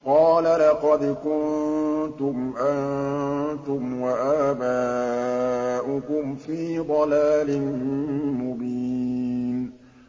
قَالَ لَقَدْ كُنتُمْ أَنتُمْ وَآبَاؤُكُمْ فِي ضَلَالٍ مُّبِينٍ